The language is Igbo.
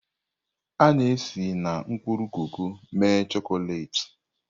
A na-esi na mkpụrụ koko mee chọkolet.